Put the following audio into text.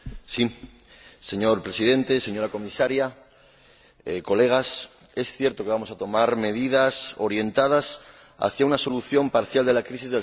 Señor Presidente, señora Comisaria, colegas, es cierto que vamos a tomar medidas orientadas hacia una solución parcial de la crisis del sector lácteo.